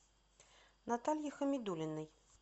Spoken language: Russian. наталье хамидуллиной